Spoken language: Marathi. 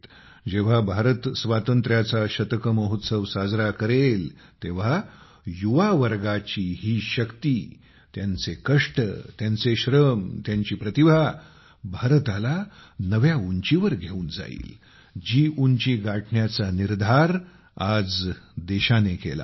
जेव्हा भारत स्वातंत्र्याचा शतक महोत्सव साजरा करेल तेव्हा युवा वर्गाची ही शक्तीत्यांचे कष्ट त्यांचे श्रम त्यांची प्रतिभा भारताला त्या नव्या उंचीवर घेऊन जाईल जी उंची गाठण्याचा निर्धार आज देशाने केला आहे